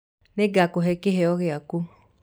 Ningakũhee kiheo giaku